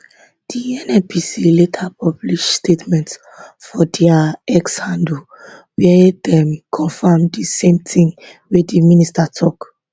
di nnpc later publish statement for dia x handle wia dem confam di same tin wey di minister tok